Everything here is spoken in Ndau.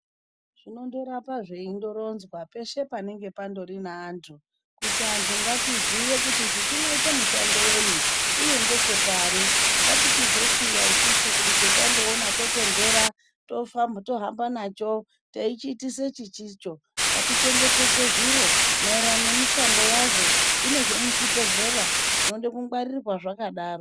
Zvinondoramba zveindoronzwa peshe panenge pandori neantu, kuti antu ngatiziye kuti ichi chinoite mushando wenyi, uye ngechepari, ngatichizosiya isusu kuti chetandoona totonhera tohamba nacho teichiitisa chisicho. Ngatichengetedze zviro maererano nemishando yazvo, kune zvemuzvibhedhlera zvinoda kungwarirwa zvakadaro.